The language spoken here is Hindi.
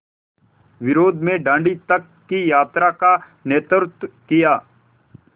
विरोध में दाँडी तक की यात्रा का नेतृत्व किया